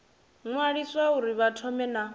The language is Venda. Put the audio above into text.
ṅwaliswa uri vha thome na